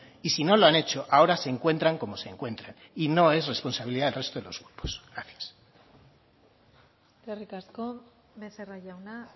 y si no lo han hecho ahora se encuentra como se encuentran y no es responsabilidad del resto de los grupos gracias eskerrik asko becerra jauna